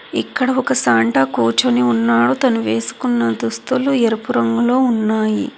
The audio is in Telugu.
ఇక్కడ ఒక సాంటా కూర్చొని ఉన్నాడు తను వేసుకున్న దుస్తులు ఎరుపు రంగులో ఉన్నాయి.